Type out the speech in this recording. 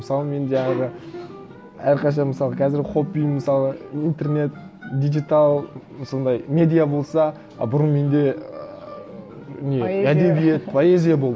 мысалы мен жаңағы әрқашан мысалы қазір хоббиім мысалы интернет диджитал сондай медиа болса а бұрын менде ыыы не әдебиет поэзия